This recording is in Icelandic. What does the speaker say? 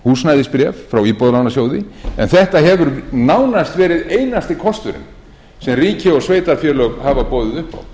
húsnæðisbréf frá íbúðalánasjóði en þetta hefur nánast verið einasti kosturinn sem ríki og sveitarfélög hafa boðið upp á og þá spyr